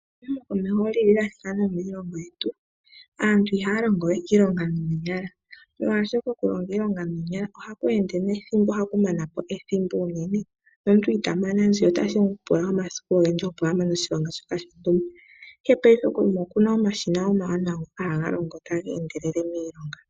Omahooli ga thika nomiilongo yetu. Aantu ihaya longo we iilonga noonyala molwaashoka okulonga iilonga noonyala ohaku ende nethimbo, ohaku mana po ethimbo uunene nomuntu ita mana mbala, otashi mu pula omasiku, opo a mane oshilonga shontumba, ihe paife kuuyuni okuna omashina omawanawa ngoka haga longo taga endelele miilonga.